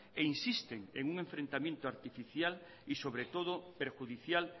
e insisten en un enfrentamiento artificial y sobre todo perjudicial